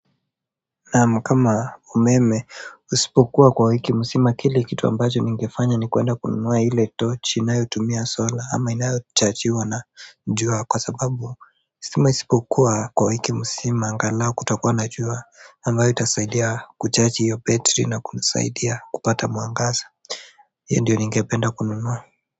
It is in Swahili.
Na kama umeme usipokuwa kwa wiki nzima kile kitu ambacho ningefanya ni kuenda kununua ile tochi inayotumia solar ama inayochajiwa na jua kwa sababu stima isipokuwa kwa wiki nzima angalao kutakuwa na njua ambayo itasaidia kuchaji hiyo betri na kunisaidia kupata mwangaza hiyo ndiyo ningependa kununua. Kwa hivyo.